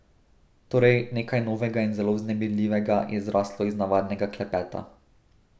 Torej, nekaj novega in zelo vznemirljivega je zraslo iz navadnega klepeta.